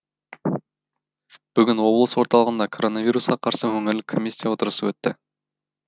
бүгін облыс орталығында коронавирусқа қарсы өңірлік комиссия отырысы өтті